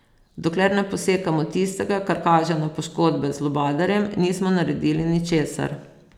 Dokler ne posekamo tistega, kar kaže na poškodbe z lubadarjem, nismo naredili ničesar.